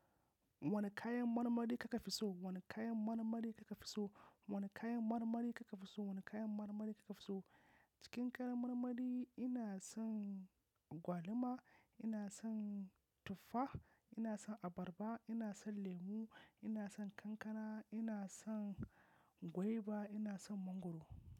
Wane kayan marmari kika fi so? Wane kayan marmari kika fi so? Wane kayan marmari kika fi so? Wane kayan marmari kika fi so? Cikin kayan marmari ina son agwalima, ina son tuffa, ina son abarba, ina son lemu, ina son kankana, ina son goiba, ina son mangwaro.